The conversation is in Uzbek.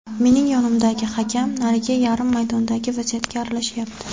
Mening yonimdagi hakam narigi yarim maydondagi vaziyatga aralashyapti.